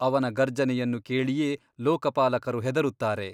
ಅವನ ಗರ್ಜನೆಯನ್ನು ಕೇಳಿಯೇ ಲೋಕಪಾಲಕರು ಹೆದರುತ್ತಾರೆ.